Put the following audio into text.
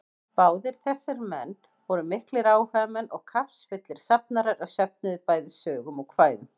Báðir þessir menn voru miklir áhugamenn og kappsfullir safnarar, er söfnuðu bæði sögum og kvæðum.